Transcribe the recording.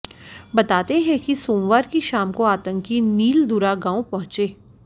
बताते हैं कि सोमवार की शाम को आतंकी नीलदूरा गांव पहुंचे